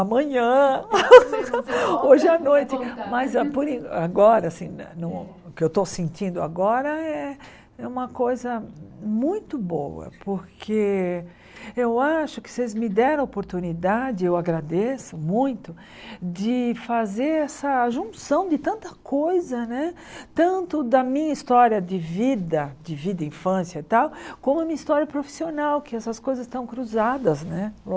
amanhã, hoje à noite, mas por en agora, o que eu estou sentindo agora é uma coisa muito boa, porque eu acho que vocês me deram oportunidade, eu agradeço muito, de fazer essa junção de tanta coisa né, tanto da minha história de vida, de vida, infância e tal, como a minha história profissional, que essas coisas estão cruzadas né,